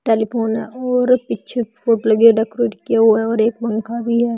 Telephone है और पीछे फोट लगी हुई डेकोरेट किया हुआ और एक पंखा भी है।